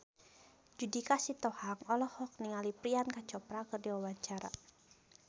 Judika Sitohang olohok ningali Priyanka Chopra keur diwawancara